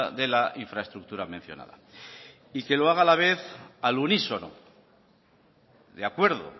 de la infraestructura mencionada y se haga a la vez al unísono de acuerdo